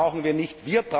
Das brauchen wir nicht.